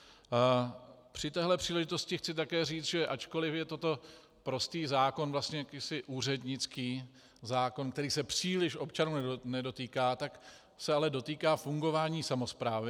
Při téhle příležitosti chci také říct, že ačkoli je toto prostý zákon, vlastně jakýsi úřednický zákon, který se příliš občanů nedotýká, tak se ale dotýká fungování samosprávy.